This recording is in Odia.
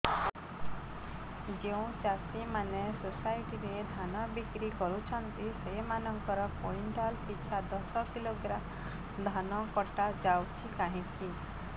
ଯେଉଁ ଚାଷୀ ମାନେ ସୋସାଇଟି ରେ ଧାନ ବିକ୍ରି କରୁଛନ୍ତି ସେମାନଙ୍କର କୁଇଣ୍ଟାଲ ପିଛା ଦଶ କିଲୋଗ୍ରାମ ଧାନ କଟା ଯାଉଛି କାହିଁକି